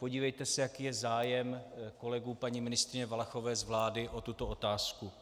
Podívejte se, jaký je zájem kolegů paní ministryně Valachové z vlády o tuto otázku.